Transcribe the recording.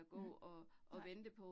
Mhm nej